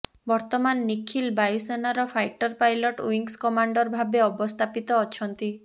ବର୍ତ୍ତମାନ ନିଖିଳ ବାୟୁସେନାର fighter pilot wings commander ଭାବେ ଅବସ୍ଥାପିତ ଅଛନ୍ତି